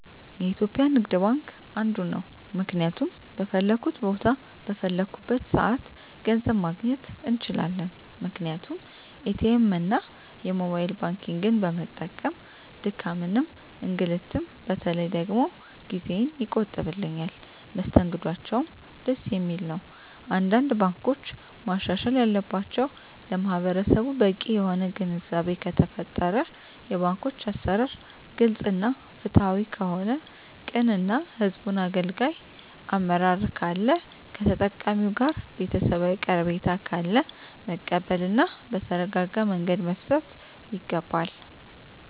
የኢትዩጲያ ንግድባንክ አንዱ ነዉ ምክንያቱም በፈለኩት ቦታ በፈለኩበት ሰአት ገንዘብ ማግኘት እንችላለን ምክንያቱም ኢትኤምእና የሞባይል ባንኪግን በመጠቀም ድካምንም እንግልትም በተለይ ደግሞ ጊዜየን ይቆጥብልኛል መስተንግዶአቸዉም ደስ የሚል ነዉ አንዳንድ ባንኮች ማሻሻል ያለባቸዉ ለማህበረሰቡ በቂ የሆነ ግንዛቤ ከተፈጠረ የባንኮች አሰራር ግልፅ እና ፍትሀዊ ከሆነ ቅን እና ህዝቡን አገልጋይ አመራር ካለ ከተጠቃሚዉ ጋር ቤተሰባዊ ቀረቤታ ካለ መቀበል እና በተረጋጋመንገድ መፍታት ይገባል